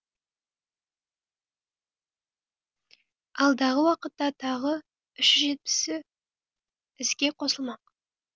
алдағы уақытта тағы үш жүз жетпісіі іске қосылмақ